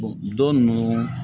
don nunnu